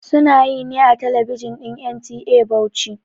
Sunayi ne a talabijin din NTA Bauchi